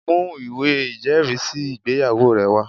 Mú ìwé ìjẹ́rìísí ìgbéyàwó rẹ wá!